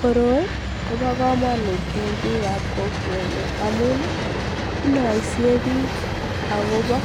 Koroi kobokomonut en biikab kokwenyun amun inoisie biik akobo